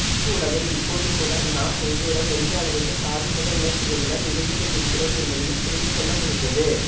கூடவே இப்போதுகூட நாம் உள்ளூர எந்த அளவுக்கு சாதி மத உணர்ச்சிகளுடன் இருந்துகொண்டிருக்கிறோம் என்பதையும் புரிந்துகொள்ளமுடிந்தது